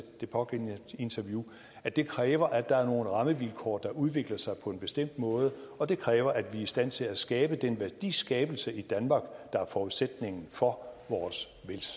det pågældende interview at det kræver at der er nogle rammevilkår der udvikler sig på en bestemt måde og det kræver at vi er i stand til at skabe den værdiskabelse i danmark der er forudsætningen for vores